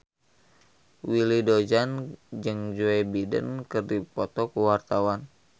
Willy Dozan jeung Joe Biden keur dipoto ku wartawan